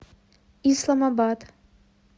исламабад